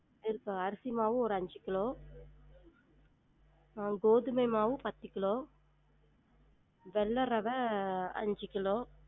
இருக்கா? அரிசி மாவு ஒரு அஞ்சு கிலோ அஹ் கோதுமை மாவு பத்து கிலோ வெள்ள ரவ அஞ்சு கிலோ